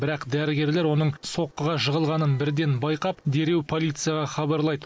бірақ дәрігерлер оның соққыға жығылғанын бірден байқап дереу полицияға хабарлайды